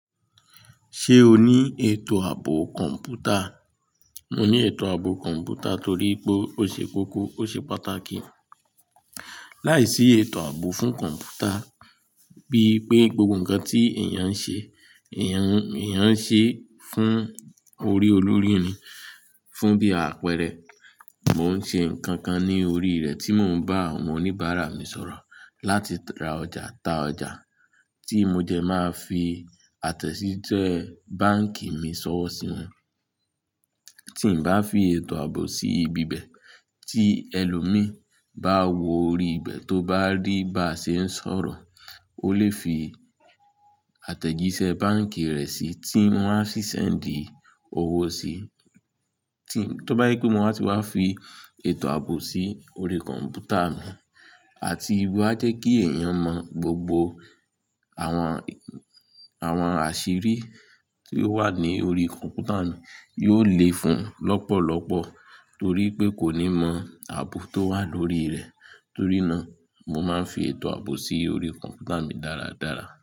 Ṣé o ní ètò ààbò kọ̀ǹpútà? Mo ní ètò ààbò kọ̀ǹpútà torí pé ó ṣe kókó, ó ṣe pàtàkì. Láìsí ètò ààbò fún kọ̀ǹpútà bí pé gbogbo ǹkan tí èèyàn ń ṣe, èèyàn ń ṣe fún orí olórí ni. Fún bí àpẹẹrẹ, mò ń ṣe ǹkan kan ní orí rẹ̀ tí mò ń bá àwọn oníbàárà mi sọ̀rọ̀ láti ra ọjà ta ọjà tí mo jẹ máa fi àtẹ̀jíṣẹ́ báǹkì mi ṣọ́wọ́ sí wọn. Tí n bá fi ètò ààbò sí ibi bẹ̀ tí ẹlòmíì bá wo orí ibẹ̀ tó bá rí bá ṣe ń sọ̀rọ̀, ó lè fi àtẹ̀jíṣẹ́ báǹkì rẹ̀ sí i tí wọ́n á fi sẹ́ńdì owó sí i. Tó bá je ípé mo wa á ti wá fi ètò ààbò sí orí kọ̀ǹpútà mi àti wà jẹ́ kí èèyàn mọ̀ gbogbo àwọn, àwọn àṣírí tí ó wà ní orí kọ̀ǹpútà mi yóò lé fún lọ́pọ̀lọ́pọ̀ torí pé kò ní mọ ààbò tó wà lórí rẹ̀. Torí náà mo máa ń fi ètò ààbò sí orí kọ̀ǹpútà mi dáradára.